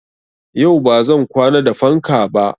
Yau ba zan kwana da fanka ba.